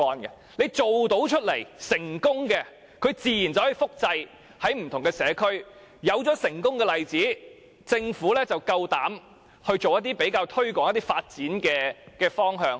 墟市辦得到、辦得成功，自然便可以在不同的社區複製。有了成功的例子，政府便敢於推行一些發展的方向。